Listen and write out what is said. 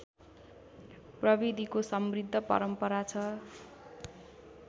प्रविधिको समृद्ध परम्परा छ